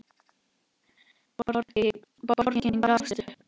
Borgin gafst upp.